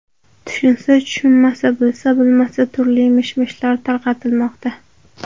Tushunsa tushunmasa, bilsa bilmasa turli mish-mishlar tarqatilmoqda.